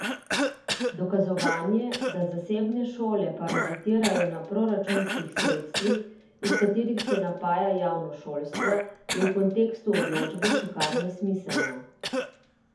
Dokazovanje, da zasebne šole parazitirajo na proračunskih sredstvih, iz katerih se napaja javno šolstvo, je v kontekstu odločbe še kar nesmiselno.